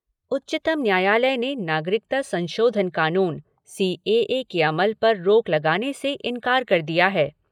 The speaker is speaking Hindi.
उच्चतम न्यायालय ने नागरिकता संशोधन कानून सीएए के अमल पर रोक लगाने से इंकार कर दिया है।